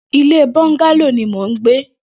Ilé bọngàló ni mó n gbé